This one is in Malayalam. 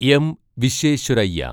എം വിശ്വേശ്വരയ്യ